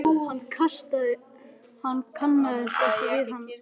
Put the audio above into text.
Hún kannaðist ekki við annað hlutskipti.